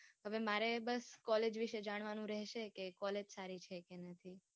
હવે મારે બસ College વિશે જાણવા નું રહેશે. કે Collage સારી છે કે નથી.